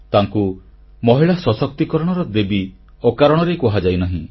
ତାଙ୍କୁ ମହିଳା ସଶକ୍ତିକରଣର ଦେବୀ ଅକାରଣରେ କୁହାଯାଇନାହିଁ